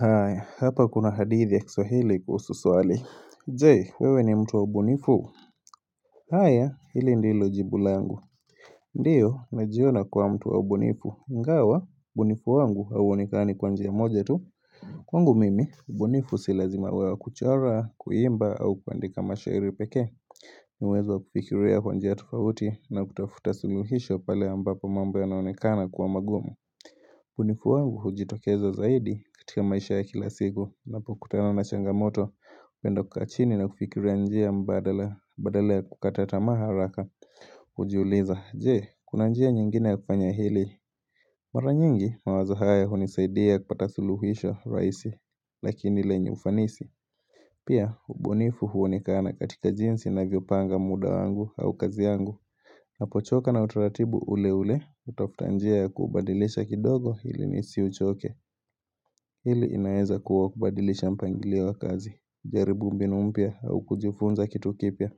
Hi hapa kuna hadithi ya kiswahili kuhusu swali Je? Wewe ni mtu wa mbunifu? Haya hili ndilo jibu langu Ndio najiona kua mtu wa ubunifu ingawa ubunifu wangu hauonekani kwa njia moja tu Kwangu mimi ubunifu silazima wewa kuchora kuimba au kuandika mashahiri pekee Nawezo kufikiria kwa njia tufauti na kutafuta suluhisho pale ambapo mambo yanaonekana kuwa magumu ubunifu wangu hujitokeza zaidi katika maisha ya kilasiku napokutana na changamoto napenda kukaa chini na kufikira njia mbadala badala ya kukata tamaa haraka hujiuliza, jee, kuna njia nyingine ya kufanya hili Mara nyingi mawazo haya hunisaidia kupata suluhisha rahisi Lakini lenye ufanisi Pia, ubunifu huonekana katika jinsi navyopanga muda wangu au kazi yangu Napochoka na utaratibu ule ule, utafutanjia ya kubadilisha kidogo ili nisi uchoke. Hili inaeza kuwa kubadilisha mpangilio wa kazi, jaribu mbinumpya au kujifunza kitu kipya.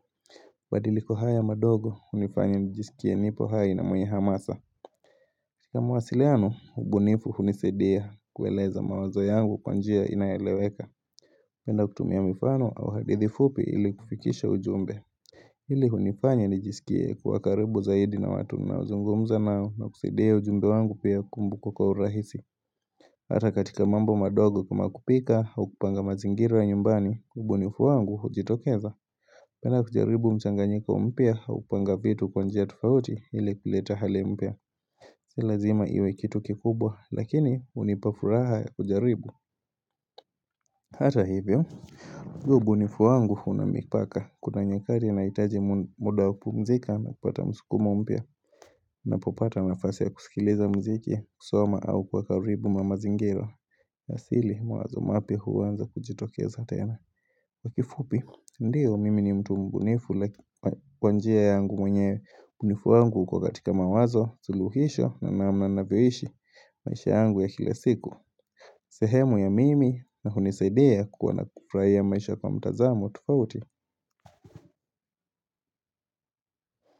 Badiliko haya madogo, unifanya nijisikie nipo hai na mwenye hamasa. Kamu wasiliano, ubunifu hunisadia kueleza mawazo yangu kwanjia inaeleweka. Napendakutumia mifano au hadithifupi ili kufikisha ujumbe. Hili hunifanya ni jisikie kwa karibu zaidi na watu ninaozungumza nao na kusidia ujumbe wangu pia kumbukwa wa urahisi Hata katika mambo madogo kuma kupika au kupanga mazingira nyumbani ubunifu wangu hujitokeza penda kujaribu mchanganyika umpya au kupanga vitu kwa njia tufauti ili kuleta hali umpya Silazima iwe kitu kikubwa lakini unipafuraha ya kujaribu Hata hivyo huu ubunifu wangu unamipaka kuna nyakati na hitaji muda kupumzika na kupata msukumo mpya na popata nafasi ya kusikiliza mziki kusoma au kuwa karibu mamazingira Nasili mawazo mapya huanza kujitokeza tena kifupi ndiyo mimi ni mtu mbunifu laki kwanjia yangu mwenye bunifu wangu uko katika mawazo suuhisho na namna na vyohishi maisha yangu ya kila siku sehemu ya mimi na hunisaidia kuku na kufraia maisha kwa mtazamo tofauti.